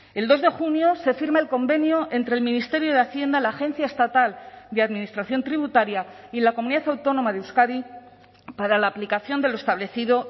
el dos de junio se firma el convenio entre el ministerio de hacienda la agencia estatal de administración tributaria y la comunidad autónoma de euskadi para la aplicación de lo establecido